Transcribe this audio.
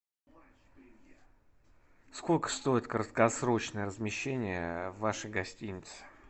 сколько стоит краткосрочное размещение в вашей гостинице